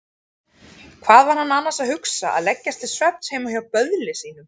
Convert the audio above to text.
Hvað var hann annars að hugsa að leggjast til svefns heima hjá böðli sínum?